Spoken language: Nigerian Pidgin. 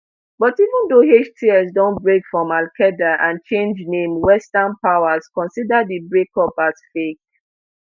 but even though hts don break from alqaeda and change name western powers consider di breakup as fake